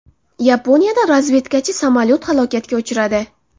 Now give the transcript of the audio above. Yaponiyada razvedkachi samolyot halokatga uchradi.